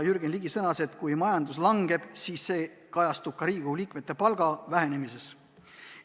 Kui majandus langeb, siis see kajastub ka Riigikogu liikmete palga vähenemises.